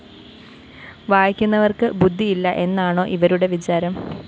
വായിക്കുന്നവര്‍ക്ക് ബുദ്ധി ഇല്ല എന്നാണോ ഇവരുടെ വിചാരം